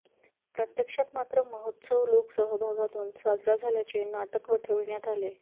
प्रत्यक्षात मात्र महोत्सव लोक सहभागातून साजरा झाल्याचे नाटक वठविण्यात आले